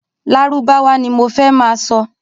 Lárúbáwá ní mo fẹ́ ma sọ